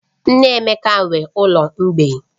Nne Emeka nwe ụlọ mgbei